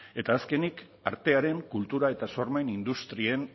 eta azkenik artearen kultura eta sormen industrien